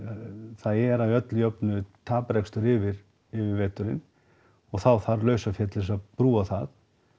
það er að öllu jöfnu taprekstur yfir veturinn og þá þarf lausafé til þess að brúa það